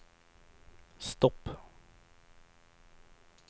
stopp